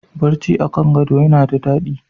Barci a kan gado yana da daɗi.